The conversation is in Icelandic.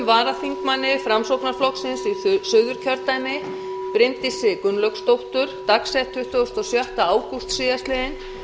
varaþingmanni framsóknarflokksins í suðurkjördæmi bryndísi gunnlaugsdóttur dagsettu tuttugasta og sjötta ágúst síðastliðnum